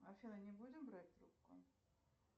афина не будем брать трубку